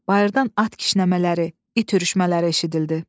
Bayırdan at kişnəmələri, it ürüşmələri eşidildi.